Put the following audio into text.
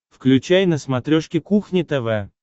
включай на смотрешке кухня тв